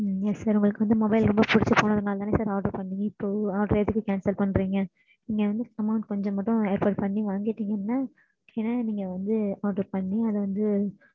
silent